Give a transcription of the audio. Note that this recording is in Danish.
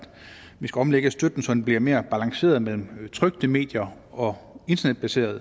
vi skal omlægge støtten så den bliver mere balanceret mellem trykte medier og internetbaserede